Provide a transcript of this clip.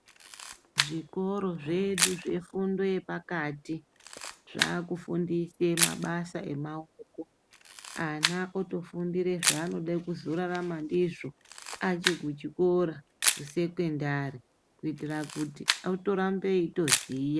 Zvikoro zvedu zvefundo yepakati zvaakufundise mabasa emaoko. Ana otofundire zvaanoda kuzorarama ndizvo achikuchikora, kusekendari kuitira kuti otorambe eitoziya.